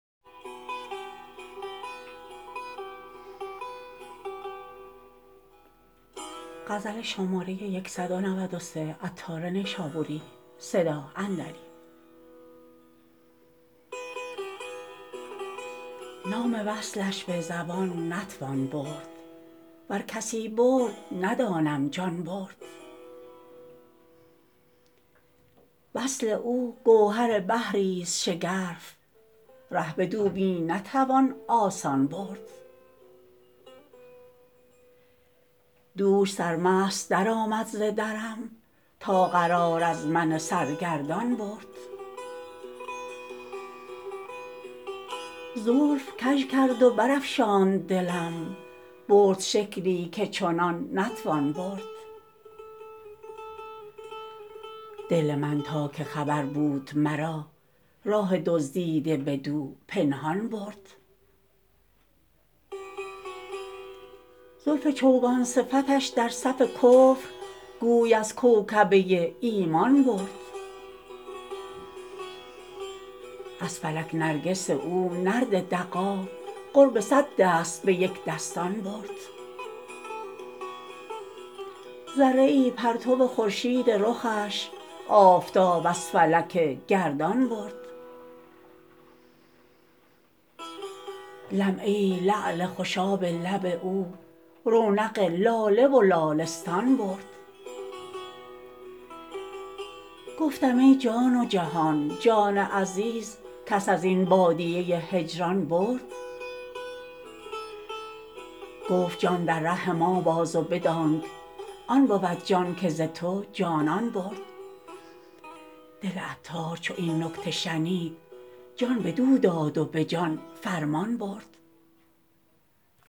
نام وصلش به زبان نتوان برد ور کسی برد ندانم جان برد وصل او گوهر بحری است شگرف ره بدو می نتوان آسان برد دوش سرمست درآمد ز درم تا قرار از من سرگردان برد زلف کژ کرد و برافشاند دلم برد شکلی که چنان نتوان برد دل من تا که خبر بود مرا راه دزدیده بدو پنهان برد زلف چوگان صفتش در صف کفر گوی از کوکبه ایمان برد از فلک نرگس او نرد دغا قرب صد دست به یک دستان برد ذره ای پرتو خورشید رخش آفتاب از فلک گردان برد لمعه ای لعل خوشاب لب او رونق لاله و لالستان برد گفتم ای جان و جهان جان عزیز کس ازین بادیه هجران برد گفت جان در ره ما باز و بدانک آن بود جان که ز تو جانان برد دل عطار چو این نکته شنید جان بدو داد و به جان فرمان برد